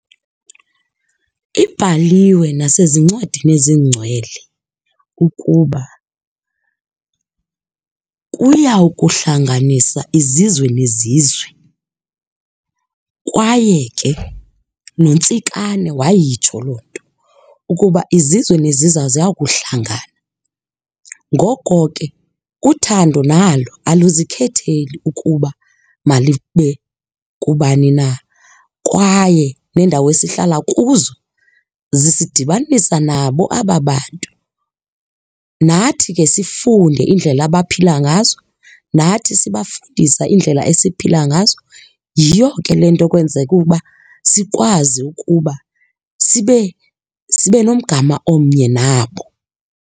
Ibhaliwe nasezincwadini ezingcwele ukuba, kuya kuhlanganisa izizwe nezizwe, kwaye ke noNtsikane wayitsho loo nto ukuba izizwe nezizwe ziya kuhlangana. Ngoko ke uthando nalo aluzikhetheli ukuba malube kubani na. Kwaye neendawo esihlala kuzo zisidibanisa nabo aba bantu. Nathi ke sifunde iindlela abaphila ngazo, nathi sibafundisa iindlela esiphila ngazo. Yiyo ke le nto kwenzeka uba sikwazi ukuba sibe nomgama omnye nabo.